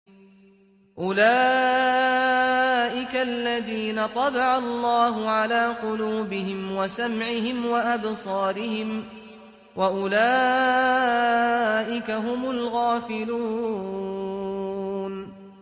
أُولَٰئِكَ الَّذِينَ طَبَعَ اللَّهُ عَلَىٰ قُلُوبِهِمْ وَسَمْعِهِمْ وَأَبْصَارِهِمْ ۖ وَأُولَٰئِكَ هُمُ الْغَافِلُونَ